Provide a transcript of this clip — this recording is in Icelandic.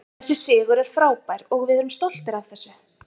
Þessi sigur er frábær og við erum stoltir af þessu.